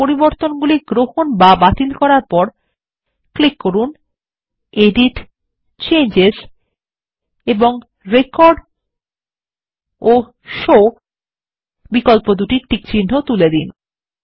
অবশেষে পরিবর্তনগুলি গ্রহণ বা বাতিল করার পর ক্লিক করুন এডিটgtgt চেঞ্জেস পরিবর্তন এবং রেকর্ড ও শো বিকল্পদুটির টিকচিহ্ন তুলে দিন